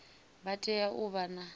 vha tea u vha na